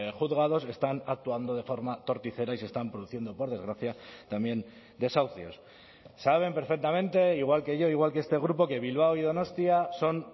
juzgados están actuando de forma torticera y se están produciendo por desgracia también desahucios saben perfectamente igual que yo igual que este grupo que bilbao y donostia son